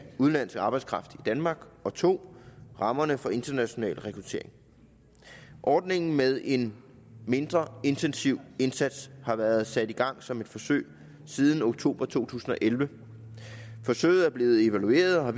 udenlandsk arbejdskraft i danmark og 2 rammerne for international rekruttering ordningen med en mindre intensiv indsats har været sat i gang som et forsøg siden oktober to tusind og elleve forsøget er blevet evalueret og har